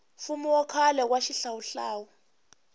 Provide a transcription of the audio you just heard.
mfumo wa khale wa xihlawuhlawu